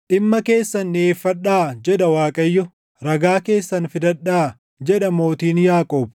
“Dhimma keessan dhiʼeeffadhaa” jedha Waaqayyo; “Ragaa keessan fidadhaa” jedha mootiin Yaaqoob.